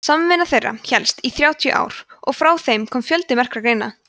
samvinna þeirra hélst í þrjátíu ár og frá þeim kom fjöldi merkra greina